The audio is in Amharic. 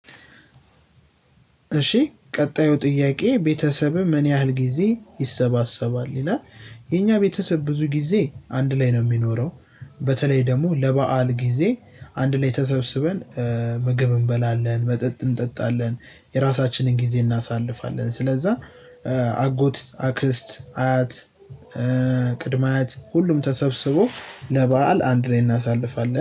እሺ ቀጣዩ ጥያቄ ቤተሰብህ ምን ያህል ጊዜ ይሰባሰባል ይላል? የእኛ ቤተሰብ ብዙ ጊዜ አንድ ላይ ነው የሚኖረው። በተለይ ደግሞ ለበአል ጊዜ አንድ ላይ ተሰብስበን ምግብ እንበላለን መጠጥ እንጠጣለን የራሳችንን ጊዜ እናሳልፋለን። ስለዛ አጎት አክስት አያት። ቅድመ አያት ሁሉም ተሰብስቦ ለበአል አንድ ላይ እናሳልፋለን